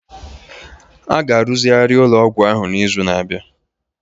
A ga-arụzigharị ụlọ ọgwụ ahụ n'izu na-abịa.